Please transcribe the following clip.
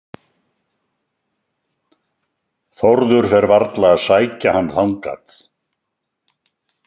Þórður fer varla að sækja hann þangað.